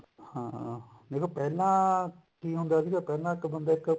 ਹਾਂ ਜਦੋਂ ਪਹਿਲਾਂ ਕਿ ਹੁੰਦਾ ਸੀਗਾ ਪਹਿਲਾਂ ਇੱਕ ਬੰਦਾ ਇੱਕ